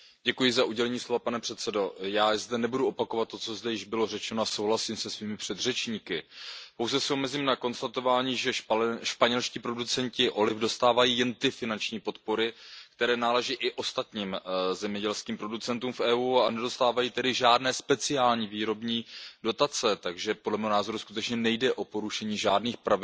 Pane předsedající, já zde nebudu opakovat, co již bylo řečeno, a souhlasím se svými předřečníky. Pouze jsou mezi nimi konstatování, že španělští producenti oliv dostávají jen ty finanční podpory, které naleží i ostatním zemědělským producentům v Evropské unii, a nedostávají tedy žádné speciální výrobní dotace. Takže podle mého názoru nejde o porušení žádných pravidel, natož